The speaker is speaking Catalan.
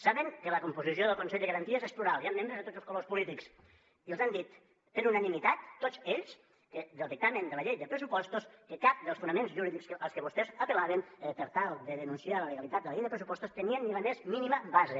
saben que la composició del consell de garanties és plural hi han membres de tots els colors polítics i els han dit per unanimitat tots ells del dictamen de la llei de pressupostos que cap dels fonaments jurídics als que vostès apel·laven per tal de denunciar la legalitat de la llei de pressupostos tenia ni la més mínima base